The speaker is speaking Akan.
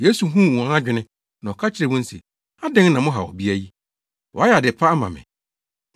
Yesu huu wɔn adwene na ɔka kyerɛɛ wɔn se, “Adɛn na mohaw ɔbea yi? Wayɛ ade pa ama me.